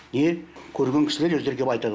и көрген кісілер өздері келіп айтады